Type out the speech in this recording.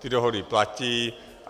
Ty dohody platí.